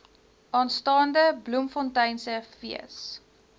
aanstaande bloemfonteinse fees